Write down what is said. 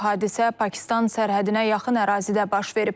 Hadisə Pakistan sərhədinə yaxın ərazidə baş verib.